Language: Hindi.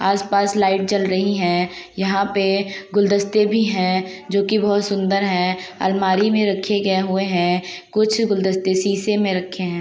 आस पास लाइट जल रही है। यहाँ पे गुल्दस्ते भी है जोकि बहुत सुंदर है। अलमारी में रखी गए हुए हैं। कुछ गुल्दस्ते शीशे में रखे हैं।